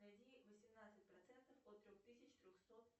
найди восемнадцать процентов от трех тысяч трехсот